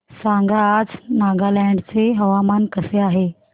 सांगा आज नागालँड चे हवामान कसे आहे